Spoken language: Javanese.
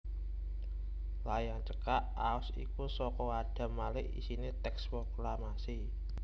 Layang cekak aos iku saka Adam Malik isiné tèks proklamasi